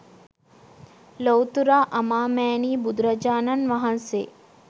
ලොව්තුරා අමාමෑණී බුදුරජාණන් වහන්සේ